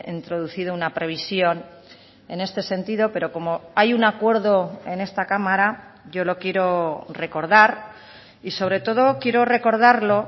introducido una previsión en este sentido pero como hay un acuerdo en esta cámara yo lo quiero recordar y sobre todo quiero recordarlo